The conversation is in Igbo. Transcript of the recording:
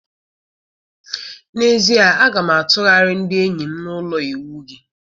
N'ezie, a ga m atụgharị ndị enyi m na ụlọ ịwụ gị.